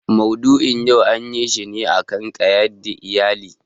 Maudu'in yau anyi shi ne a kan ƙayyade iyali.